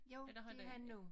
Jo det her nu